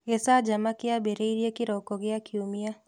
Gĩcanjama kĩambĩrĩirie kĩroko gĩa kiumia